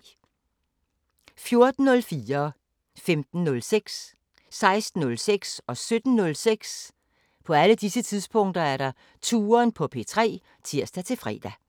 14:04: Touren på P3 (tir-fre) 15:06: Touren på P3 (tir-fre) 16:06: Touren på P3 (tir-fre) 17:06: Touren på P3 (tir-fre)